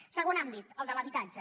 segon àmbit el de l’habitatge